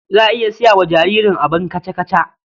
Za a iya saya wa jaririn abin kaca-kaca.